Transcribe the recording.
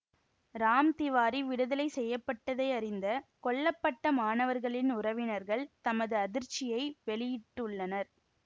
ராம் திவாரி விடுதலை செய்ய பட்டதை அறிந்த கொல்ல பட்ட மாணவர்களின் உறவினர்கள் தமது அதிர்ச்சியை வெளியிட்டுள்ளனர்